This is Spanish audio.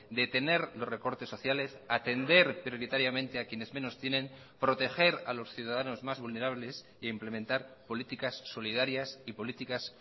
detener los recortes sociales atender prioritariamente a quienes menos tienen proteger a los ciudadanos más vulnerables e implementar políticas solidarias y políticas